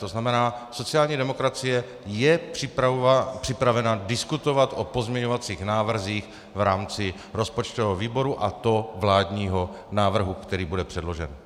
To znamená, sociální demokracie je připravena diskutovat o pozměňovacích návrzích v rámci rozpočtového výboru, a to vládního návrhu, který bude předložen.